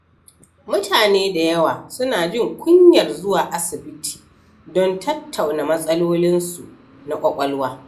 Mutane da yawa suna jin kunyar zuwa asibiti don tattauna matsalolinsu na ƙwaƙwalwa.